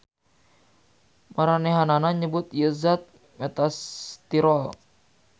Maranehanana nyebut ieu zat metastyrol.